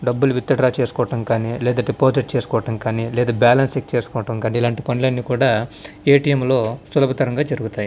డబ్బులు ఎత్తున చేసుకోవడం కానీ లేదా డిపాజిట్ చేసుకోవడం కానీ లేదా బ్యాలెన్స్ చెక్ చేసుకోవడం కాదు అంటే పనులన్నీ కూడా ఏటీఎం లో సులభంగా జరుగుతాయి.